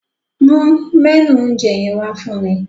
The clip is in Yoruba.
Mu mẹ́nù oúnjẹ yẹn wá fún mi.